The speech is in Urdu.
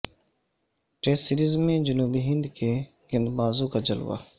ٹیسٹ سیریز میں جنوبی ہند کے گیندبازو ں کا جلوہ